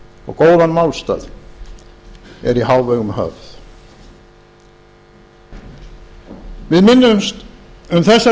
og góðan málstað er í hávegum höfð við minnumst um þessar